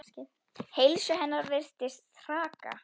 Heilsu hennar virðist hraka.